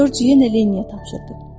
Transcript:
Corc yenə Lenniyə tapşırdı.